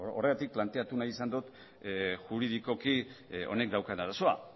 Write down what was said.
horregatik planteatu nahi izan dut juridikoki honek daukan arazoa